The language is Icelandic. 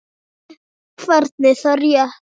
Hvernig, er það rétt?